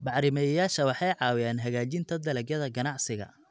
Bacrimiyeyaasha waxay caawiyaan hagaajinta dalagyada ganacsiga.